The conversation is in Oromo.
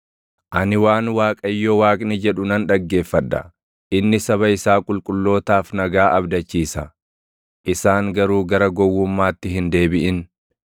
Ani waan Waaqayyo Waaqni jedhu nan dhaggeeffadha; inni saba isaa qulqullootaaf nagaa abdachiisa; isaan garuu gara gowwummaatti hin deebiʼin.